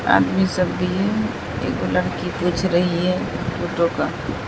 आदमी सब भी है एक लड़की पूछ रही है फोटो का।